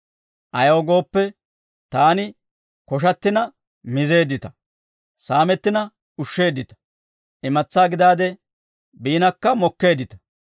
Ayaw gooppe, taani koshattina mizeeddita; saamettina ushsheeddita; imatsaa gidaade biinakka mokkeeddita.